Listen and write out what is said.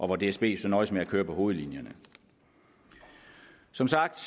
hvor dsb så nøjes med at køre på hovedlinjerne som sagt